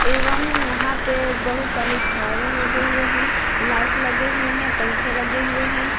एवं यहाँ पे बहुत सारे झालर लगे हुए हैं लाइट लगे हुए हैं पंखे लगे हुए हैं।